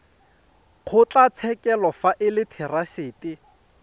kgotlatshekelo fa e le therasete